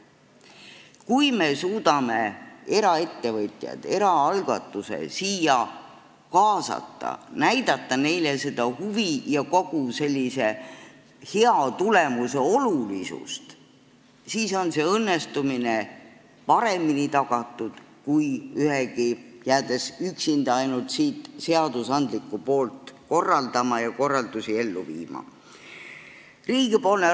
Kui me suudame eraettevõtjad, eraalgatuse siia kaasata, näidata neile selle huvi ja hea tulemuse olulisust, siis on õnnestumine paremini tagatud, kui üksinda ainult seadusandlikku poolt korraldama ja korraldusi ellu viima jäädes.